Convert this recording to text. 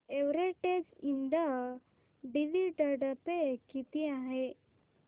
Everest Ind dividend pay किती आहे